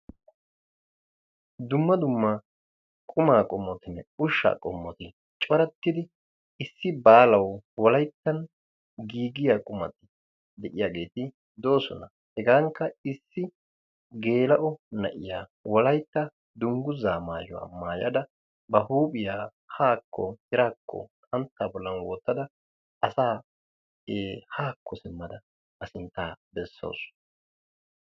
Dumma dumma qumaa qommotinne ushshaa qommoti coratidi issi baalaw wolayttan giigiyaageeti de'oosona; hegankka issi gel"o na'iyaa Wolaytta dumgguza maayuwaa maayyada; ba huuphiyaa haako tiraakko xanttaa bollan wottada asaa haako bessawus.